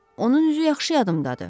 Onun üzü yaxşı yadımdadır.